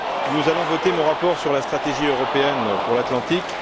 nous allons voter mon rapport sur la stratégie européenne pour l'Atlantique.